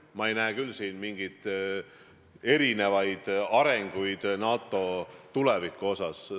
Ma ei näe siin küll mingeid erinevaid arenguid NATO tuleviku osas.